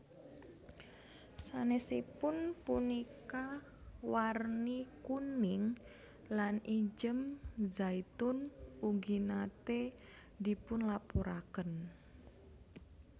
Sanesipun punika warni kuning lan ijem zaitun ugi nate dipunlaporaken